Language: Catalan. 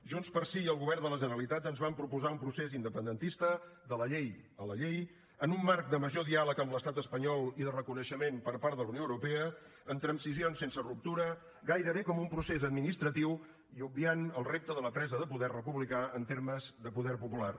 junts pel sí i el govern de la generalitat ens van proposar un procés independentista de la llei a la llei en un marc de major diàleg amb l’estat espanyol i de reconeixement per part de la unió europea amb transicions sense ruptura gairebé com un procés administratiu i obviant el repte de la presa de poder republicà en termes de poder popular